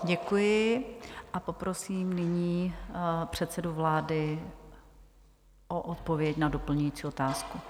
Děkuji a poprosím nyní předsedu vlády o odpověď na doplňující otázku.